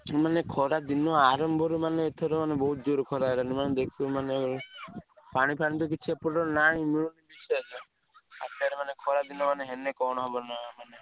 ମାନେ ଖରା ଦିନ ଆରମ୍ଭରେ ମାନେ ବହୁତ ଜୋରେ ଖରା ହେଲାଣି ଦେଖିବ ମାନେ ପାଣି ଫାଣି ତ କିଛି ଏପଟରେ ନାହିଁ ଖରା ଦିନ ହେଲେ